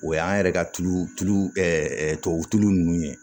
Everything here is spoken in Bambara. O y'an yɛrɛ ka tulu tulu tubabu ninnu ye